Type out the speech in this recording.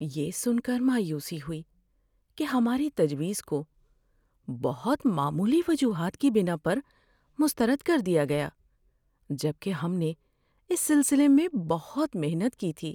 یہ سن کر مایوسی ہوئی کہ ہماری تجویز کو بہت معمولی وجوہات کی بناء پر مسترد کر دیا گیا جبکہ ہم نے اس سلسلے میں بہت محنت کی تھی۔